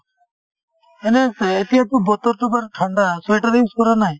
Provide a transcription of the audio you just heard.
এনেহ্ এ এতিয়াতো বতৰতো বাৰু ঠাণ্ডা sweater use কৰা নাই ?